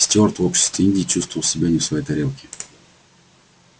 стюарт в обществе индии чувствовал себя не в своей тарелке